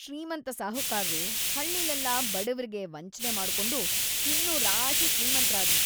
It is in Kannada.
ಶ್ರೀಮಂತ ಸಾಹುಕಾರ್ರು ಹಳ್ಳಿಲೆಲ್ಲ ಬಡವ್ರಿಗೆ ವಂಚ್ನೆ ಮಾಡ್ಕೊಂಡು ಇನ್ನೂ ರಾಶಿ ಶ್ರೀಮಂತ್‌ರಾದ್ರು.